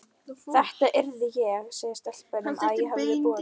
Þetta yrði ég að segja stelpunum, að ég hefði boðið